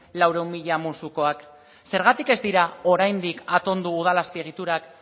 laurehun mila musukoak zergatik ez dira oraindik atondu udal azpiegiturak